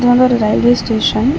இது வந்து ஒரு ரயில்வே ஸ்டேஷன் .